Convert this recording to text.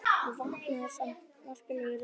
Það vantaði samt matarlyst í röddina.